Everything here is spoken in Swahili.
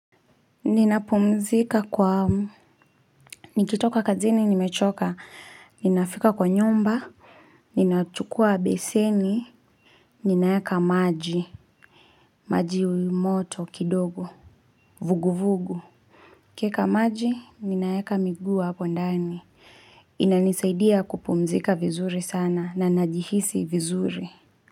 Ninapumzika kwa, nikitoka kazini nimechoka, ninafika kwa nyumba, ninachukua beseni, ninaeka maji, maji moto kidogo, vuguvugu. Kieka maji, ninaeka miguu hapo ndani inanisaidia kupumzika vizuri sana na najihisi vizuri.